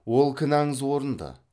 ол кінаңыз орынды